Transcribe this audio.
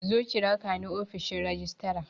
Zo ki rakani ofishin rajistira